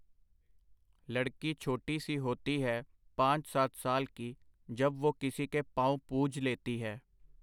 ਲੜਕੀ ਛੋਟੀ ਸੀ ਹੋਤੀ ਹੈ, ਪਾਂਚ ਸਾਤ ਸਾਲ ਕੀ, ਜਬ ਵੁਹ ਕਿਸੀ ਕੇ ਪਾਉਂ ਪੂਜ ਲੇਤੀ ਹੈ .